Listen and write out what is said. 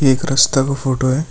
एक रस्ता का फोटो है।